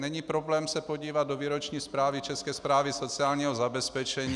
Není problém se podívat do výroční zprávy České správy sociálního zabezpečení.